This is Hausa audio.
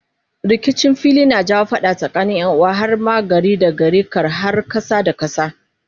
rikicin fili kan jawo fada tsakanin yanuwa har ma gari da gari kar har kasa da kasa